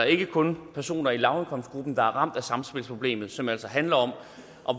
ikke kun personer i lavindkomstgruppen der er ramt af samspilsproblemer som altså handler om